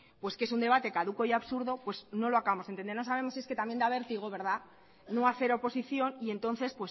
pues que es un debate caduco y absurdo pues no lo acabamos de entender no sabemos si es que también da vértigo no hacer oposición y entonces